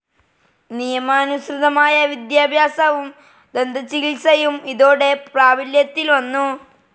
നിയമാനുസൃതമായ വിദ്യാഭ്യാസവും ദന്തചികിത്സയും ഇതോടെ പ്രാബല്യത്തിൽ വന്നു.